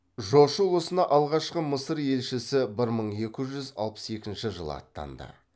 жошы ұлысына алғашқы мысыр елшісі бір мың екі жүз алпыс екінші жылы аттанды